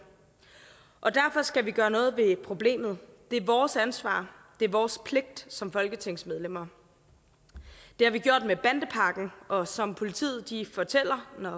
og derfor skal vi gøre noget ved problemet det er vores ansvar det er vores pligt som folketingsmedlemmer det har vi gjort med bandepakken og som politiet fortæller når